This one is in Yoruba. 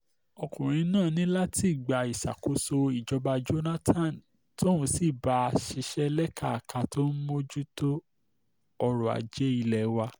ọkùnrin náà ní látìgbà ìṣàkòóso ìjọba jonathan tóun sì bá a ṣiṣẹ́ lékaka tó ń mójútó ọrọ̀ ajé ilé wa